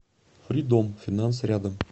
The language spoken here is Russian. фридом финанс рядом